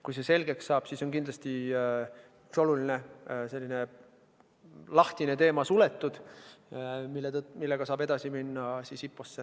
Kui see selgeks saab, siis on kindlasti üks selline oluline, praegu veel lahtine teema suletud ja saab IPO-ga edasi minna.